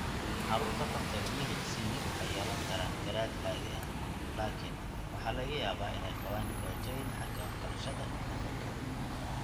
Carruurta qabta BHC waxay yeelan karaan garaad caadi ah, laakiin waxaa laga yaabaa inay qabaan dhibaatooyin xagga waxbarashada iyo dhaqanka.